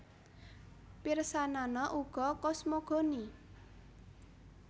Pirsanana uga kosmogoni